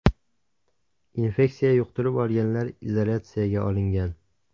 Infeksiya yuqtirib olganlar izolyatsiyaga olingan.